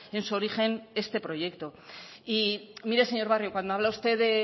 en su origen este proyecto y mire señor barrio cuando habla usted de